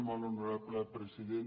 molt honorable president